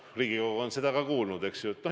Riigikogu on seda ka kuulnud, eks ju.